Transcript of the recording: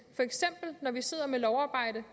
når vi sidder med lovarbejde